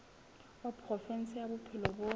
wa provinse ya bophelo bo